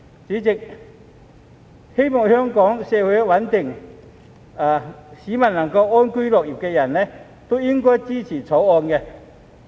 主席，希望香港社會穩定、市民能夠安居樂業的人均應該支持《條例草案》。